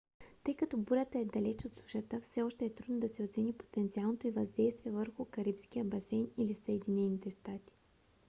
тъй като бурята е далеч от сушата все още е трудно да се оцени потенциалното й въздействие върху карибския басейн или съединените щати